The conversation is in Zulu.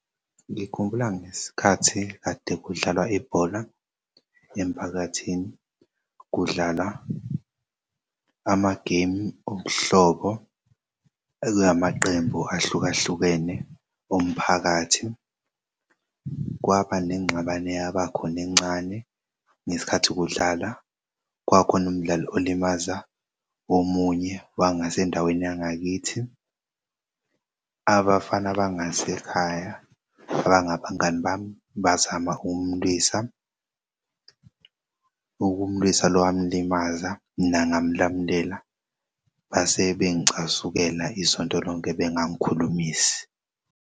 Ngikhumbula ngesikhathi kade kudlalwa ibhola emphakathini kudlalwa amagemu obuhlobo ekumaqembu ahlukahlukene umphakathi kwaba nengxabano eyabakhona encane ngesikhathi kudlala kwakhona umdlali olimaza omunye wangasendaweni yangakithi. Abafana bangasekhaya abangabangani bami bazama ukumulwisa ukumulwisa lo wamlimaza mina ngamlamlela base bengicasukela isonto lonke bengangikhulumisi.